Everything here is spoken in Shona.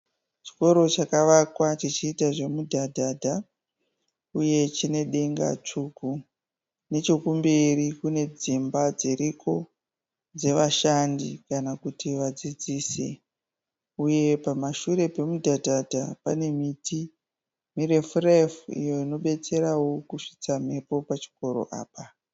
Chikoro chakavakwa chichiita zvemudhadhadha uye chine denga tsvuku. Nechekumberi kune dzimba dziriko dzevashandi kana kuti vadzidzisi uye pamashure pemudhadhadha pane miti mirefu refu iyo inobetsera kusvitsa mhepo pachikoro Apa.